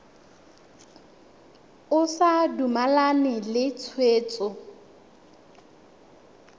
o sa dumalane le tshwetso